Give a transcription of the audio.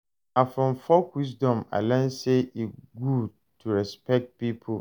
Na from folk wisdom I learn sey e good to respect pipo.